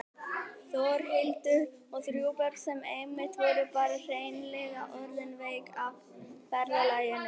Þórhildur: Og þrjú börn sem einmitt voru bara hreinlega orðin veik af ferðalaginu?